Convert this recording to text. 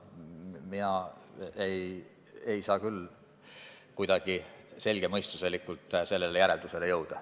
Mina ei saa küll kuidagi selgemõistuslikult sellisele järeldusele jõuda.